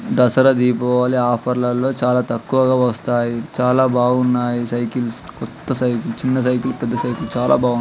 Dasara Deepavali offer లో చాలా తక్కువగా వస్తాయి. చాలా బాగున్నాయి. ఈ సైకిల్స్ కొత్త సైకిల్స్ చిన్న సైకిల్ పెద్ద సైకిల్ చాలా బాగా ఉన్ --